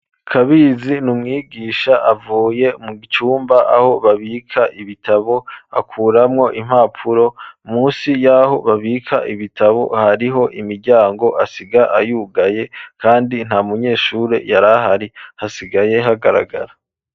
Kabizi ni umwigisha Avuye mu cumba aho babika ibitabo akuramwo impapuro. Musi y'aho babika ibitabo hariho imiryango, asiga ayugaye kandi ntamunyeshure yar'ahari, hasigaye hagaragara.